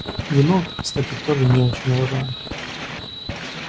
вино кстати тоже не очень уважаю